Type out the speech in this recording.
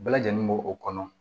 Bɛɛ lajɛlen b'o o kɔnɔ